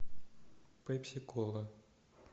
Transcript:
пепси кола